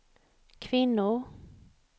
kvinnor